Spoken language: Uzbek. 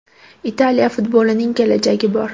Italiya futbolining kelajagi bor.